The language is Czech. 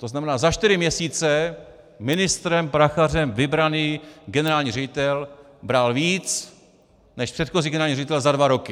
To znamená za čtyři měsíce ministrem Prachařem vybraný generální ředitel bral víc než předchozí generální ředitel za dva roky.